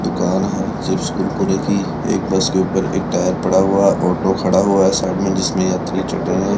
दुकान है चिप्स कुरकुरे की एक बस के ऊपर एक टायर पड़ा हुआऑटो खड़ा हुआ साइड में जिसमें यात्री चढ़ रहे हैं।